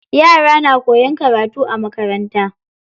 Yara na koyan karatu a makaranta.